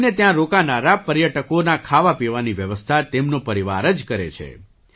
તેમને ત્યાં રોકાનારા પર્યટકોના ખાવાપીવાની વ્યવસ્થા તેમનો પરિવાર જ કરે છે